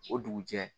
O dugujɛ